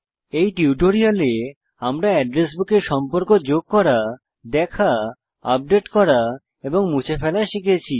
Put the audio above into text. এই টিউটোরিয়ালে আমরা এড্রেস বুকে সম্পর্ক যোগ করা দেখা আপডেট করা এবং মুছে ফেলা শিখেছি